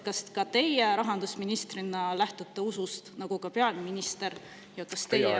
Kas ka teie rahandusministrina lähtute usust nagu peaminister ja kas teie usk …